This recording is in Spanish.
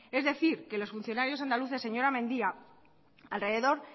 es decir que los funcionarios andaluces señora mendia alrededor